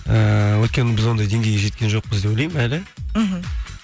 ііі өйткені біз ондай деңгейге жеткен жоқпыз деп ойлаймын әлі мхм